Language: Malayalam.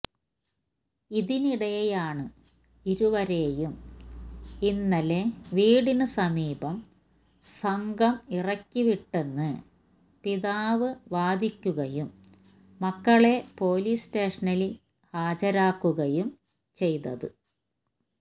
ഇതിനിടെയാണ് ഇരുവരെയും ഇന്നലെ വീടിനു സമീപം സംഘം ഇറക്കിവിട്ടെന്ന് പിതാവ് വാദിക്കുകയും മക്കളെ പോലീസ് സ്റ്റേഷനിൽ ഹാജരാക്കുകയും ചെയ്തത്